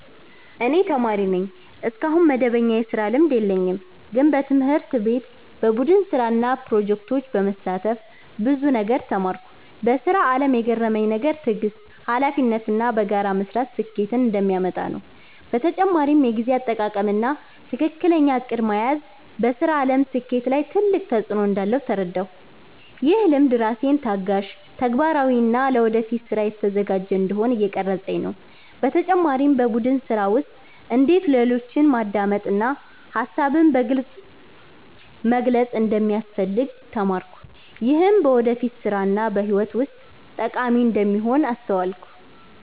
እኔ ተማሪ ነኝ፣ እስካሁን መደበኛ የስራ ልምድ የለኝም። ግን በትምህርት ቤት በቡድን ስራ እና ፕሮጀክቶች በመሳተፍ ብዙ ነገር ተማርኩ። በስራ አለም የገረመኝ ነገር ትዕግስት፣ ሀላፊነት እና በጋራ መስራት ስኬትን እንደሚያመጣ ነው። በተጨማሪም የጊዜ አጠቃቀም እና ትክክለኛ እቅድ መያዝ በስራ አለም ስኬት ላይ ትልቅ ተፅዕኖ እንዳለው ተረዳሁ። ይህ ልምድ ራሴን ታጋሽ፣ ተግባራዊ እና ለወደፊት ስራ የተዘጋጀ እንዲሆን እየቀረፀኝ ነው። በተጨማሪም በቡድን ስራ ውስጥ እንዴት ሌሎችን ማዳመጥ እና ሀሳብን በግልፅ መግለጽ እንደሚያስፈልግ ተማርኩ። ይህም በወደፊት ስራ እና በህይወት ውስጥ ጠቃሚ እንደሚሆን አስተዋልኩ።